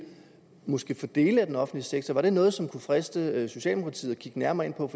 måske inden for dele af den offentlige sektor var det noget som det kunne friste socialdemokratiet at kigge nærmere på